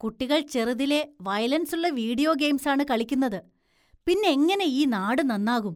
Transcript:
കുട്ടികള്‍ ചെറുതിലെ വയലന്‍സുള്ള വീഡിയോ ഗെയിംസാണ് കളിക്കുന്നത്, പിന്നെങ്ങനെ ഈ നാട് നന്നാകും?